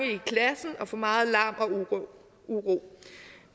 i klassen og for meget larm og uro